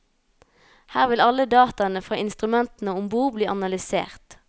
Her vil alle dataene fra instrumentene om bord bli analysert.